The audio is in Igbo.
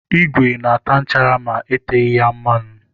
Ígwè na-ata nchara ma eteghị ya mmanụ.